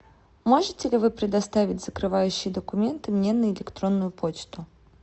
можете ли вы предоставить закрывающие документы мне на электронную почту